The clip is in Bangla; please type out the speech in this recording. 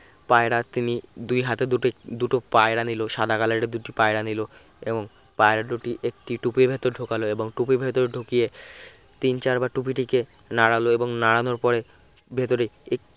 পায়রার তিনি দুই হাতে দুটো দুটো পায়রা নিলো সাদা color এর দুটি পায়রা নিল এবং পায়রা দুটি একটি টুপির ভেতর ঢোকালো এবং টুপির ভেতরে ঢুকিয়ে তিন-চারবার টুপিটিকে নাড়ালো এবং নাড়ানোর পরে ভেতরে এক